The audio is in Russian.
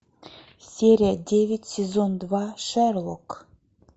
серия девять сезон два шерлок